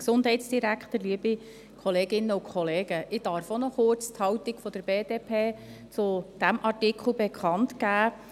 Ich darf auch noch kurz die Haltung der BDP zu diesem Artikel bekannt geben.